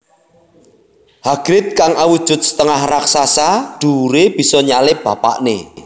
Hagrid kang awujud setengah raksasa dhuwuré bisa nyalip bapakné